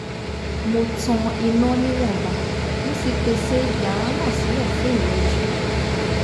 mo tan iná níwọ̀nba mo sì pèsè yàrá náà sílẹ̀ fún ìrẹjú